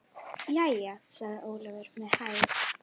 Jæja, sagði Ólafur með hægð.